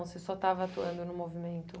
Você só estava atuando no movimento?